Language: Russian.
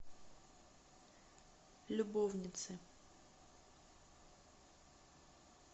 любовницы